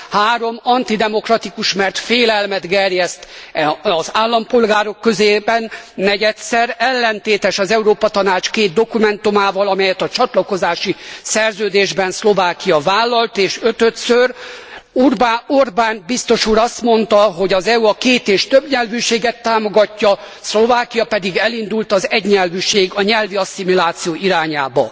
Három, antidemokratikus, mert félelmet gerjeszt az állampolgárok körében. Negyedszer, ellentétes az Európa Tanács két dokumentumával, amelyet a csatlakozási szerződésben Szlovákia vállalt és ötödször, Orbán biztos úr azt mondta, hogy az EU a két és többnyelvűséget támogatja, Szlovákia pedig elindult az egynyelvűség, a nyelvi asszimiláció irányába.